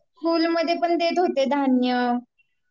school मध्ये पण देत होते धान्य